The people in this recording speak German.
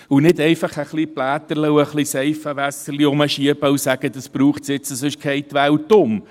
Wir können nicht einfach «bläterle» und ein bisschen Seifenwasser herumschieben und sagen, dies sei jetzt nötig, denn sonst gehe die Welt unter.